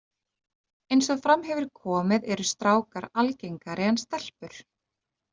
Eins og fram hefur komið eru strákar algengari en stelpur.